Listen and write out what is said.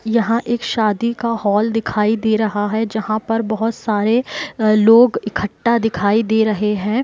यहाँ एक शादी का हॉल दिखाई दे रहा है जहां पर बोहत सारे लोग इकठ्ठा दिखाई दे रहे है।